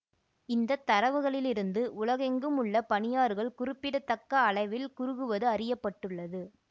இந்த தரவுகளிலிருந்து உலகெங்கும் உள்ள பனியாறுகள் குறிப்பிட தக்க அளவில் குறுகுவது அறிய பட்டுள்ளது